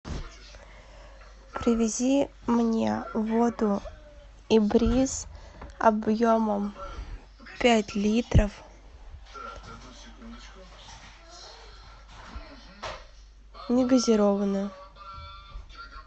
привези мне воду ибриз объемом пять литров не газированную